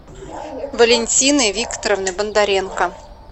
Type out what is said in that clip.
валентины викторовны бондаренко